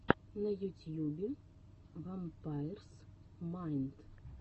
на ютьюбе вампайрс майнд